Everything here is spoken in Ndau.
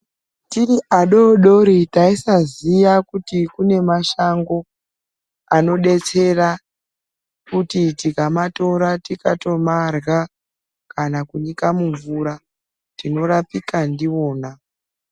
Tiri adodori taisaziva kuti kune mashango anodetsera kuti tikamatora tikatomarya kana kunyika mumvura tinorapika ndiona